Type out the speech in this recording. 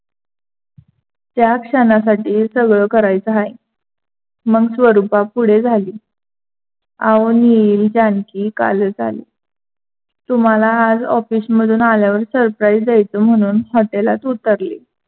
त्या क्षणासाठी सगळं करायच आहे. मग स्वरूपा पुढे झाली. अहो नील जानकी कालच आली. तुम्हाला आज ऑफिसमधून आल्यावर surprise द्यायच म्हणून हॉटेलात उतरली.